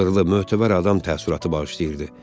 Abırlı, mötəbər adam təəssüratı bağışlayırdı.